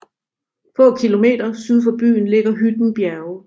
Få kilometer syd for byen ligger Hytten Bjerge